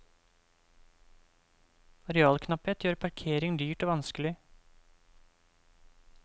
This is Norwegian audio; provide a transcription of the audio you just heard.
Arealknapphet gjør parkering dyrt og vanskelig.